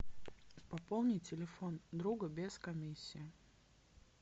пополни телефон друга без комиссии